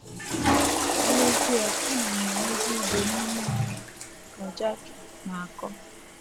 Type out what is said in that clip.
N’ezie ana m enwezi udo n’ime onwe m, ” ka Jackie na - akọ.